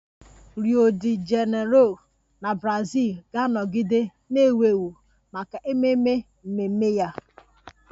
Rio De Janeiro na Brazil ga-anọgide na-ewu ewu maka ememe mmemme ya